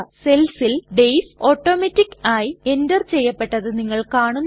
സെൽസിൽ days automatic ആയി enter ചെയ്യപ്പെട്ടതായി നിങ്ങൾ കാണുന്നു